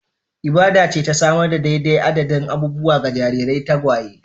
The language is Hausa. Ibada ce ta samar da daidai adadin abubuwa ga jarirai tagwaye